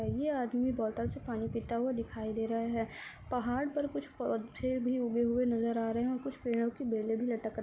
ये आदमी बोतल से पानी पीता हुआ दिखाई दे रहा है। पहाड़ पे कुछ पौधे भी उगे हुए नजर आ रहे हैं और कुछ पेड़ो की बेले भी लटक --